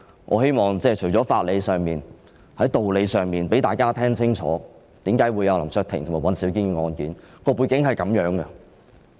我希望在法理上、道理上讓市內民理解為何有林卓廷議員和尹兆堅議員的案件。